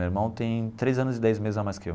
Meu irmão tem três anos e dez meses a mais que eu.